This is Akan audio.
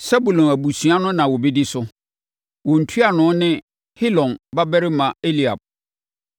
Sebulon abusuakuo na wɔbɛdi so. Wɔn ntuanoni ne Helon babarima Eliab.